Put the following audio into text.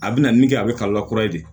A bɛna min kɛ a bɛ ka lakura in de